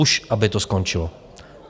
Už aby to skončilo!